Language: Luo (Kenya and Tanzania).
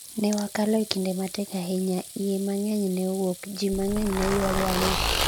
ne wakalo e kinde matek ahinya, iye mang'eny ne owuok, ji mang'eny ne ywago ang'e